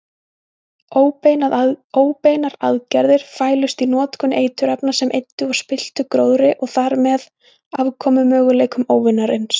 Óbeinar aðgerðir fælust í notkun eiturefna sem eyddu og spilltu gróðri og þarmeð afkomumöguleikum óvinarins.